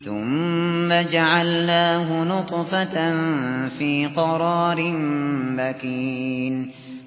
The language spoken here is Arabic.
ثُمَّ جَعَلْنَاهُ نُطْفَةً فِي قَرَارٍ مَّكِينٍ